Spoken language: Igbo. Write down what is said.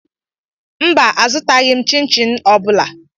Mba, azụtaghị chin chin ọ bụla